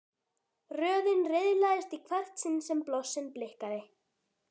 Röðin riðlaðist í hvert sinn sem blossinn blikkaði.